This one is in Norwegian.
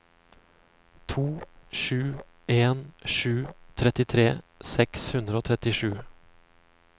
to sju en sju trettitre seks hundre og trettisju